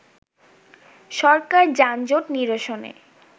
সরকার যানজট নিরসনে